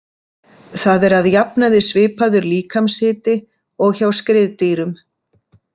Það er að jafnaði svipaður líkamshiti og hjá skriðdýrum.